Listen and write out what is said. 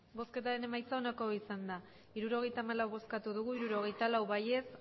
emandako botoak hirurogeita hamalau bai hirurogeita lau ez